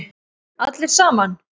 Allir saman.